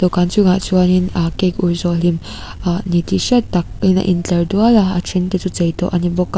dawhkan chungah chuan in ahh cake ur zawh hlim ahh ni tih hriat tak in a in tlar dual a a then te chu chei tawh a ni bawk a.